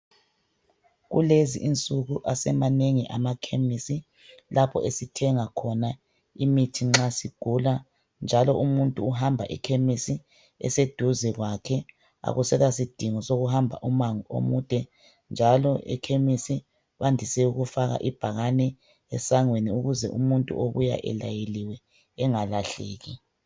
Kulezi insuku asemanengi amakhemisi lapho esithenga khona imithi nxa sigula njalo umuntu uhamba ekhemisi eseduze kwakhe. Akusela sidingo sokuhamba umango omude njalo ekhemisi bandise ukufaka ibhakene esangweni ukuze umuntu obuya elayeliwe engalahleki.